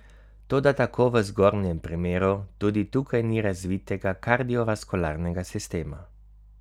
Toda tako v zgornjem primeru tudi tukaj ni razvitega kardiovaskularnega sistema.